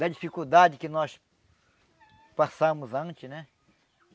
Da dificuldade que nós passamos antes, né?